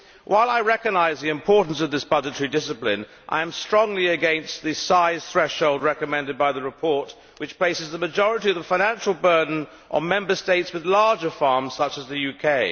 While I recognise the importance of this budgetary discipline, I am strongly against the size threshold recommended by the report, which places the majority of the financial burden on Member States with larger farms, such as the UK.